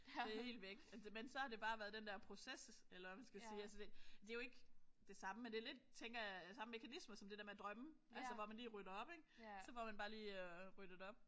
Det er helt væk. Men det så har det bare været den der proces eller hvad man skal sige. Altså det det er jo ikke det samme men det er lidt tænker jeg samme mekanismer som det der med at drømme altså hvor man lige rydder op ik. Så får man bare lige ryddet op